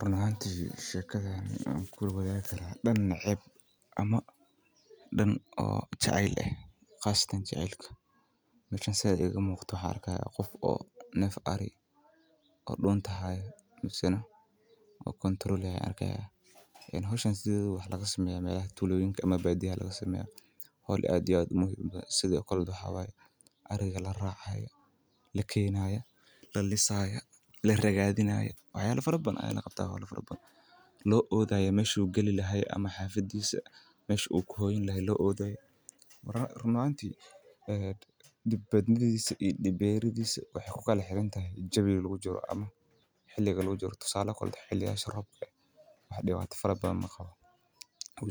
Run ahaanti shekadan dan neceeb iyo dan neceb ayaan kula wadaagi karaa si kastaba ha ahaate danka jecelka waxa laga sameeya miiga sida ariga laraacayo run ahaanti dibkiisa iyo dagnashiihiisa waxeey kuxiran tahay waqtiyaha marka roobka wuu